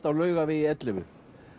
á Laugavegi ellefu